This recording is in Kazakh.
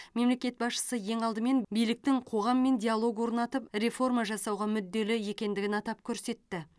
мемлекет басшысы ең алдымен биліктің қоғаммен диалог орнатып реформа жасауға мүдделі екендігін атап көрсетті